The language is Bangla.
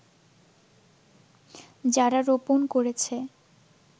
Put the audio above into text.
যারা রোপন করেছে